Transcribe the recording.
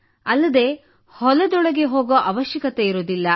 ಅಲ್ಲದೆ ಹೊಲದೊಳಗೂ ಹೋಗುವ ಅವಶ್ಯಕತೆಯಿರುವುದಿಲ್ಲ